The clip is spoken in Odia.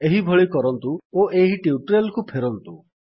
ଏହିଭଳି କରନ୍ତୁ ଓ ଏହି ଟ୍ୟୁଟୋରିଆଲ୍ କୁ ଫେରନ୍ତୁ